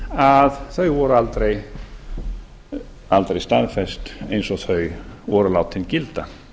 að þau voru aldrei staðfest eins og þau voru látin gilda